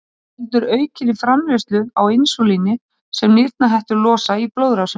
Það veldur aukinni framleiðslu á insúlíni sem nýrnahettur losa í blóðrásina.